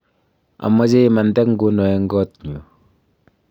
amache imante nguno eng koot nyu